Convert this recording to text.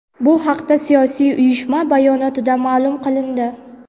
Bu haqda siyosiy uyushma bayonotida ma’lum qilindi.